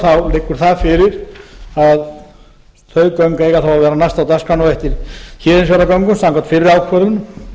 áðan liggur það fyrir að þau göng eiga þá að vera næst á dagskránni á eftir héðinsfjarðargöngum samkvæmt fyrri ákvörðun